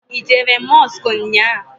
I jere Mọsk nnyaa?